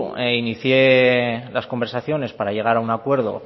inicié las conversaciones para llegar a un acuerdo